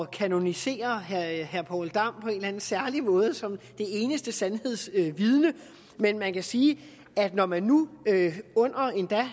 kanonisere herre poul dam på en eller anden særlig måde som det eneste sandhedsvidne men man kan sige at når man nu endda